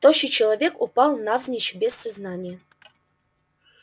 тощий человек упал навзничь без сознания